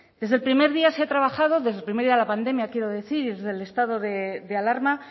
desde el primer día se ha trabajado desde el primer día de la pandemia quiero decir y desde estado de alarma